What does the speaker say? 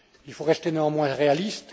Il faut rester néanmoins réaliste.